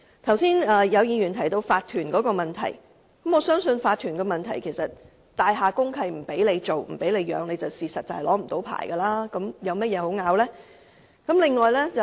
剛才有議員提到法團的問題，我相信如果大廈公契訂明不准飼養動物，在住所進行的狗隻繁殖便無法領取牌照，那還有甚麼可爭拗的呢？